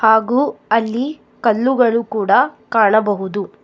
ಹಾಗು ಅಲ್ಲಿ ಕಲ್ಲುಗಳು ಕೂಡ ಕಾಣಬಹುದು.